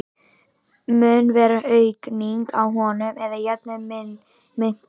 Mun vera aukning á honum eða jafnvel minnkun?